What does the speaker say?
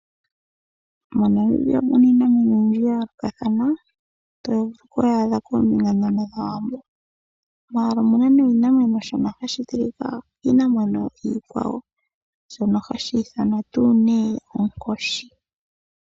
MoNamibia omuna iinamwenyo oyindji ya yoolokathana mono muna oshinamwenyo hashi tilika kiikwawo.